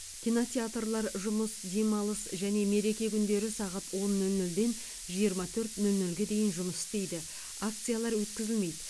кинотеатрлар жұмыс демалыс және мереке күндері сағат он нөл нөлден жиырма төрт нөл нөлге дейін жұмыс істейді акциялар өткізілмейді